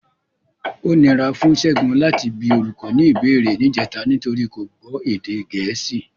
Ó nira fún Ṣẹ́gun láti bi olùkọ́ ní ìbéèrè níjẹta nítorí kò gbọ́ èdè Gẹ̀ẹ́sì.